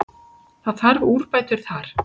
Það þarf úrbætur þar.